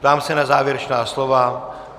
Ptám se na závěrečná slova.